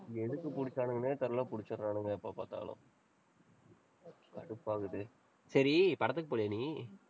எதுக்கு புடிச்சானுங்கன்னே தெரியல, புடிச்சுறானுங்க எப்ப பாத்தாலும். கடுப்பாகுது. சரி, படத்துக்குக் போகலையா நீ?